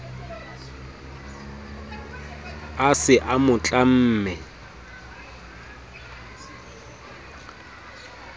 a se a mo tlamme